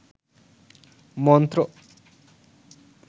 মন্ত্র